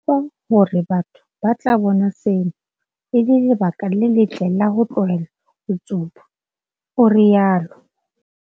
Re tshepa hore batho ba tla bona sena e le lebaka le letle la ho tlohela ho tsuba, o rialo.